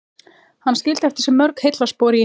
Hann skildi eftir sig mörg heillaspor í